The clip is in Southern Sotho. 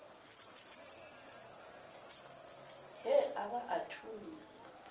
he a ba a thunya